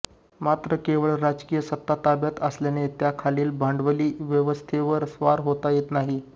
मात्र केवळ राजकीय सत्ता ताब्यात आल्याने त्याखालील भांडवली व्यवस्थेवर स्वार होता येत नाही